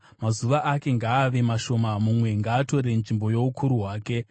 Mazuva ake ngaave mashoma; mumwe ngaatore nzvimbo youkuru hwake.